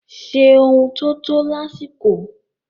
Ṣe ohun tó tọ́ lásìkò.